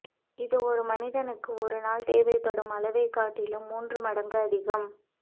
இது ஒரு மனிதனுக்கு ஒரு நாள் தேவைப்படும் அளவைக் காட்டிலும் மூன்று மடங்கு அதிகம்